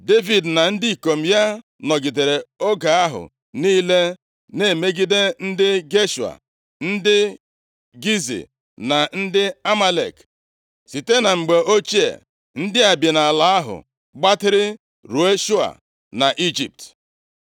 Devid na ndị ikom ya nọgidere oge ahụ niile na-emegide ndị Geshua, ndị Gizi na ndị Amalek. (Site na mgbe ochie ndị a bi nʼala ahụ gbatịrị ruo Shua na Ijipt)